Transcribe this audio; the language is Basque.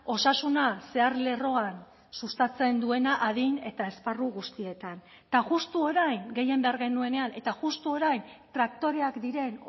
osasuna zeharlerroan sustatzen duena adin eta esparru guztietan eta justu orain gehien behar genuenean eta justu orain traktoreak diren